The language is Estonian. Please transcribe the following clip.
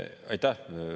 Aitäh!